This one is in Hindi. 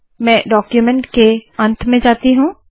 मैं डाक्यूमेन्ट के अंत में जाती हूँ